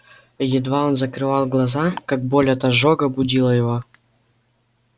едва он закрывал глаза как боль от ожога будила его